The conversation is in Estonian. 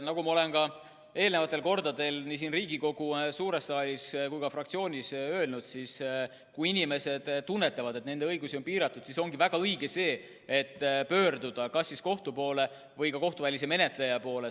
Nagu ma olen ka eelnevatel kordadel nii siin Riigikogu suures saalis kui ka fraktsioonis öelnud: kui inimesed tunnevad, et nende õigusi on piiratud, siis ongi väga õige pöörduda kas kohtu poole või kohtuvälise menetleja poole.